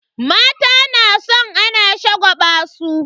Mata na san ana shagwaba su.